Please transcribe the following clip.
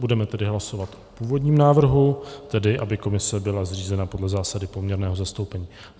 Budeme tedy hlasovat o původním návrhu, tedy aby komise byla zřízena podle zásady poměrného zastoupení.